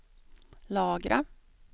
lagra